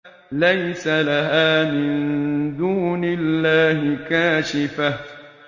لَيْسَ لَهَا مِن دُونِ اللَّهِ كَاشِفَةٌ